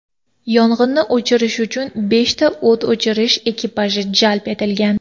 Yong‘inni o‘chirish uchun beshta o‘t o‘chirish ekipaji jalb etilgan.